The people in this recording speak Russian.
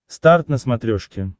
старт на смотрешке